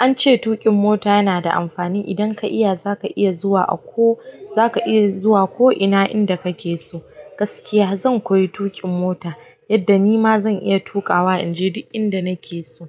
An ce tuƙin mota yana da amfani. Idan ka iya za ka iya zuwa a ko-- za ka iya zuwa ko ina inda kake so. Gaskiya zan koyi tuƙin mota yadda nima zan iya tukawa in je duk inda nake so.